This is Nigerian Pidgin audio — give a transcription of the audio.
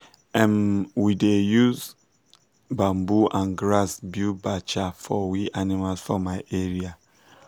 um we da um use bamboo and grass build bacha for we animals for my area